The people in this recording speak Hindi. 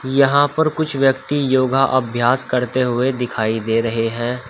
यहां पर कुछ व्यक्ति योगा अभ्यास करते हुए दिखाई दे रहे हैं।